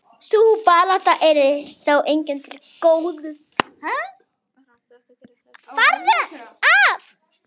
Sú barátta yrði þó engum til góðs.